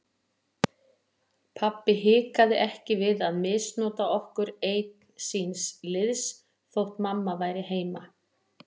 Pabbi hikaði ekki við að misnota okkur einn síns liðs þótt mamma væri heima.